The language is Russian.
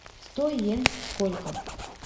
сто йен сколько